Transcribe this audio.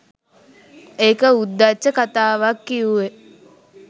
ඒක උද්දච්ච කතාවක් කිව්වේ.